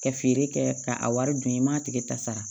Ka feere kɛ ka a wari dun i m'a tigi ta sara